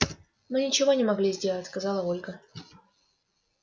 мы ничего не могли сделать сказала ольга